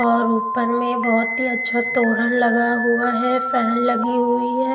और ऊपर में बहुत ही अच्छा तोरण लगा हुआ है फैन लगी हुई है.